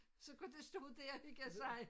Så kunne de stå dér og hygge sig